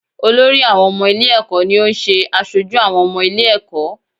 Olórí àwọn ọmọ ilé-ẹ̀kọ́ ni ó ń ṣe aṣojú àwọn ọmọ ilé-ẹ̀kọ́.